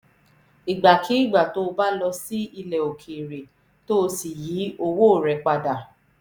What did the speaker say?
ìgbàkigbà tó o bá lọ sí ilẹ̀ òkèèrè tó o sì yí owó rẹ pa dà